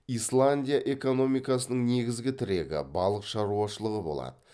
исландия экономикасының негізгі тірегі балық шаруашылығы болады